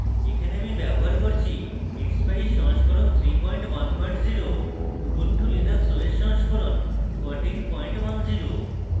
এখানে আমি ব্যবহার করছি